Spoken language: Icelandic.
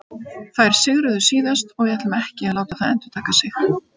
Þær sigruðu síðast og við ætlum ekki að láta það endurtaka sig.